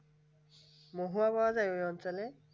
মহুয়া পাওয়া যায় ওই অঞ্চলে